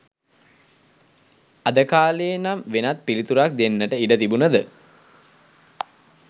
අද කාලේ නම් වෙනත් පිළිතුරක් දෙන්නට ඉඩ තිබුනද